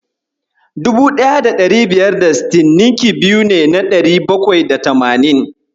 1560 ninki biyu ne na dari bakwai da tamanin.